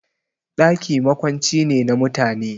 Ɗaki makwanci ne na mutane